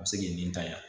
A bɛ se k'i nan